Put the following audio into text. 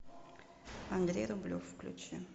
андрей рублев включи